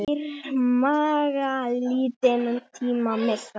Þeir mega lítinn tíma missa.